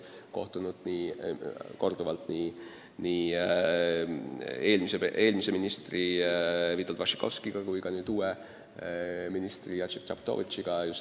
Olen korduvalt kohtunud eelmise välisministri Witold Waszczykowskiga ja äsja ka uue ministri Jacek Czaputowicziga.